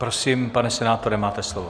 Prosím, pane senátore, máte slovo.